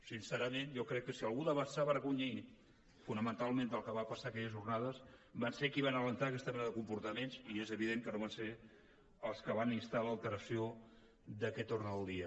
sincerament jo crec que si algú s’ha d’avergonyir fonamentalment del que va passar aquelles jornades és qui va encoratjar aquesta mena de comportaments i és evident que no van ser els que van instar l’alteració d’aquest ordre del dia